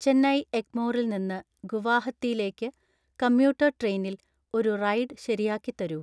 ചെന്നൈ എഗ്മോറിൽ നിന്ന് ഗുവാഹത്തിയിലേക്ക് കമ്മ്യൂട്ടർ ട്രെയിനിൽ ഒരു റൈഡ് ശരിയാക്കി തരൂ